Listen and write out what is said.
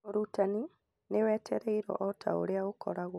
U͂rutani ni wetereiru͂o o ta u͂ri͂a u͂koragwo.